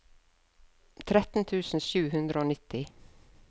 tretten tusen sju hundre og nitti